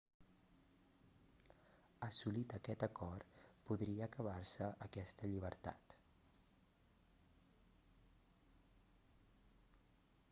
assolit aquest acord podria acabar-se aquesta llibertat